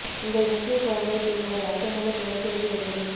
உங்கள் முஸ்லீம் குழந்தை பெண் ஒரு அர்த்தமுள்ள பெயர் தேர்வு எப்படி